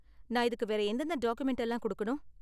நான் இதுக்கு வேற எந்தெந்த டாக்குமென்ட் எல்லாம் கொடுக்கணும்?